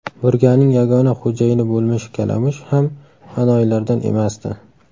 Burganing yagona xo‘jayini bo‘lmish kalamush ham anoyilardan emasdi.